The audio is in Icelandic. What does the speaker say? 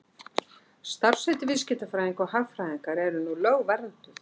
Starfsheiti viðskiptafræðinga og hagfræðinga eru nú lögvernduð.